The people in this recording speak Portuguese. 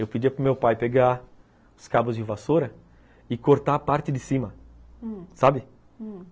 Eu pedia para o meu pai pegar os cabos de vassoura e cortar a parte de cima, hum, sabe? hum.